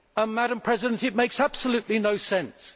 Madam President, it makes absolutely no sense.